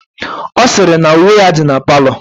Ọ sịrị na uwe ya dị na palọ